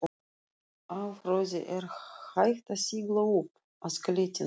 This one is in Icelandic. Á flóði er hægt að sigla upp að klettinum.